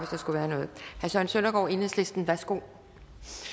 der skulle være noget herre søren søndergaard enhedslisten værsgo